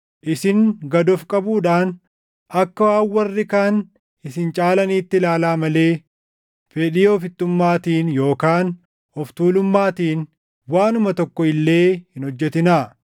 Isin gad of qabuudhaan akka waan warri kaan isin caalaniitti ilaalaa malee fedhii ofittummaatiin yookaan of tuulummaatiin waanuma tokko illee hin hojjetinaa.